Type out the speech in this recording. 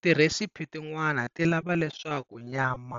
Ti recipe tin'wana tilava leswaku nyama